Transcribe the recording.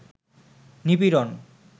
নিপীড়ন